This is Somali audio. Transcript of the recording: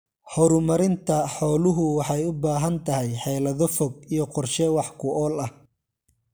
Horumarinta xooluhu waxay u baahan tahay xeelado fog iyo qorshe wax ku ool ah.